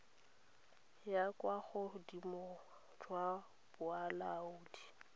la kwa bogodimong jwa bolaodi